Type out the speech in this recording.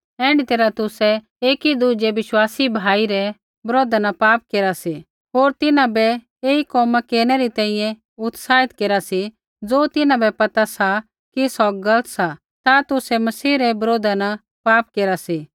ऐण्ढी तैरहा तुसै एकी दुज़ै विश्वासी भाई रै बरोधा न पाप केरा सी होर तिन्हां बै ऐई कोमा केरनै री तैंईंयैं उत्साहित केरा सी ज़ो तिन्हां बै पता सा कि सौ गलत सा ता तुसै मसीह रै बरोधा न पाप केरा सी